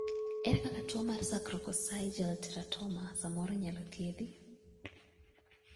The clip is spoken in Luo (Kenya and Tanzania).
ere kaka tuo mar sacrococcygeal teratoma samoro inyalo thiedhi?